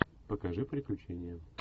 покажи приключения